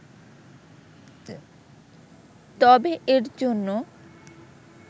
তবে এর জন্য